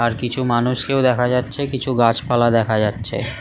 আর কিছু মানুষকেও দেখা যাচ্ছে কিছু গাছপালা দেখা যাচ্ছে ।